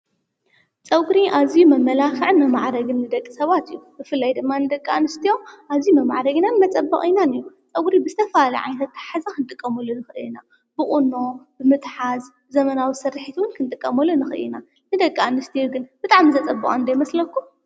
ፀጕሪ ኣዙይ መመላኽዕን መማዓረግን ንደቂ ሰባት እዩ፡፡ ብፍላይ ደማ ንደቂ ኣንስትዮ ኣዚዩ መማዕረግናን መፀበቕናን እዩ፡፡ ጸጕሪ ብዝተፈላለየ ዓይነታት ኣታሕዛ ኽንጥቀምሉ ንኽእለ ኢና፡፡ ብቑኖ ፣ብምትሓዝ ዘመናዊ ስርሒትዉን ክንጥቀመሉ ንኽእለ ኢና፡፡ ንደቂ ኣንስትዮ ግን ብጣዕም ዘጸብቐንዶ ይመስለኩም?